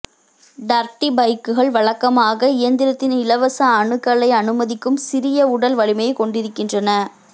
dirty பைக்குகள் வழக்கமாக இயந்திரத்தின் இலவச அணுகலை அனுமதிக்கும் சிறிய உடல்வலிமையைக் கொண்டிருக்கின்றன